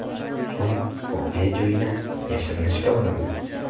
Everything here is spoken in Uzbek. So‘ng voqea joyidan yashirinishga urindi.